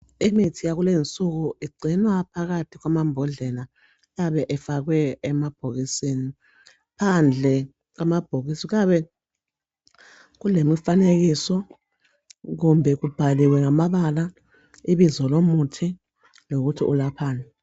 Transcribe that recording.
Imithi yakulezi insuku igcinwa phakathi kwamambhodlela ayabe efakwe emabhokisini phandle kwamabhokisi kuyabe kulemifanekiso kumbe kubhaliwe ngamabala ibizo lomuthi lokuthi ulaphani